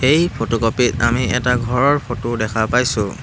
এই ফটোকপি ত আমি এটা ঘৰৰ ফটো দেখা পাইছোঁ।